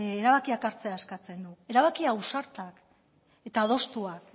erabakiak hartzea eskatzen du erabaki ausartak eta adostuak